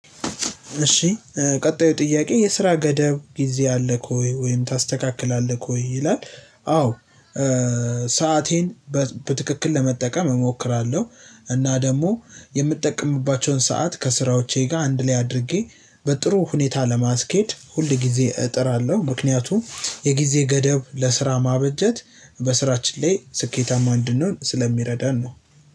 እሺ ቀጣዩ ጥያቄ የስራ ገደብ ጊዜ አለ ኮይ ወይም ታስተካክላለህ ሆይ ይላል? አዎ ሰአቴን በትክክል ለመጠቀም እሞክራለሁ። እና ደግሞ ሰዓት ከስራዎቼ ጋር አንድ ላይ አድርጌ በጥሩ ሁኔታ ለማስኬድ ሁልጊዜ እጥራለሁ። ምክንያቱም የጊዜ ገደብ ለስራ ማበጀት በስራችን ላይ ስኬታማ እንድንሆን ስለሚረዳን ነው።